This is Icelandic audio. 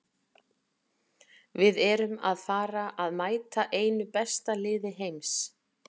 Við erum að fara að mæta einu besta liði heims.